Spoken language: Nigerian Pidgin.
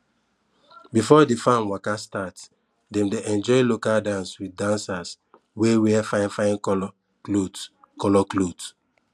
before the farm waka start dem dey enjoy local dance with dancers wey wear fine fine colour cloth colour cloth